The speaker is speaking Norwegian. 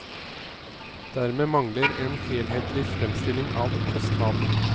Dermed mangler en helhetlig fremstilling av kostnadene.